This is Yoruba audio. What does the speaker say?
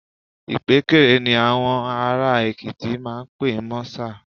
Ìpékeré ni àwọn ará Èkìtì máa ń pe mọ́sà